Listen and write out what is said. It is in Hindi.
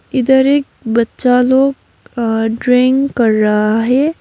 इधर एक बच्चा लोग अ ड्राइंग कर रहा है।